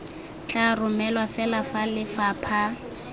tla romelwa fela fa lefapha